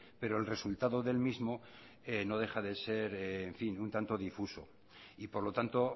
pero el resultado del mismo no deja de ser en fin un tanto difuso y por lo tanto